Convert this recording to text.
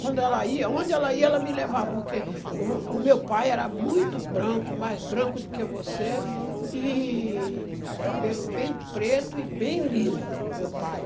Quando ela ia, onde ela ia, ela me levava, porque o o meu pai era muito branco, mais branco do que você, e o cabelo bem preto e bem liso, meu pai.